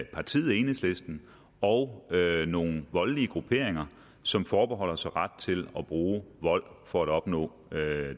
partiet enhedslisten og nogle voldelige grupperinger som forbeholder sig ret til at bruge vold for at opnå